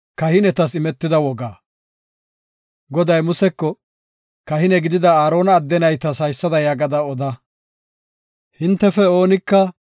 Goday Museko, “Kahine gidida Aarona adde naytas haysada yaagada oda. Hintefe oonika